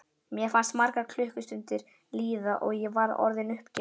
Mér fannst margar klukkustundir líða og ég var orðin uppgefin.